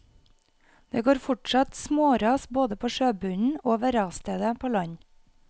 Det går fortsatt småras både på sjøbunnen og ved rasstedet på land.